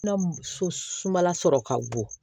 Na so sumala sɔrɔ ka bon